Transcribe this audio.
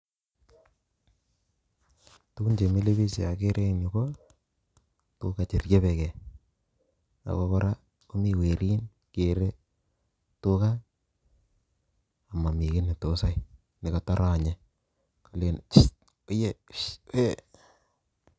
Tugun chemile biik cheakere en yu ko tuga cheryebekei o kora komi werin kere tuga ako momii kiit netos yoe nekotoronye eng morionyet